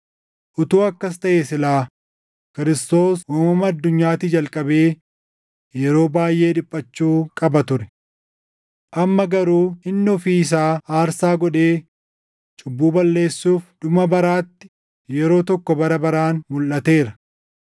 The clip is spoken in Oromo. Utuu akkas taʼee silaa Kiristoos uumama addunyaatii jalqabee yeroo baayʼee dhiphachuu qaba ture. Amma garuu inni ofii isaa aarsaa godhee cubbuu balleessuuf dhuma baraatti yeroo tokko bara baraan mulʼateera.